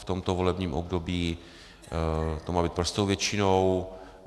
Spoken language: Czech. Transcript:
V tomto volebním období to má být prostou většinou.